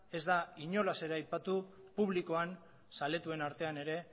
ez da inolaz ere aipatu publikoan zaletuen artean ere